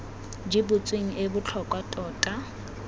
di butsweng e botlhokwa tota